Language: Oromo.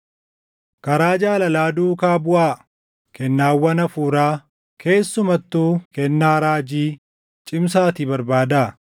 Karaa jaalalaa duukaa buʼaa; kennaawwan Hafuuraa, keessumattuu kennaa raajii cimsaatii barbaadaa.